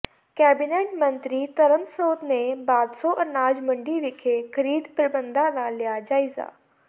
cabinet ਮੰਤਰੀ ਧਰਮਸੋਤ ਨੇ ਭਾਦਸੋਂ ਅਨਾਜ ਮੰਡੀ ਵਿਖੇ ਖ਼ਰੀਦ ਪ੍ਰਬੰਧਾਂ ਦਾ ਲਿਆ ਜਾਇਜ਼ਾ